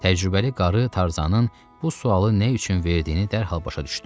Təcrübəli qarı Tarzanın bu sualı nə üçün verdiyini dərhal başa düşdü.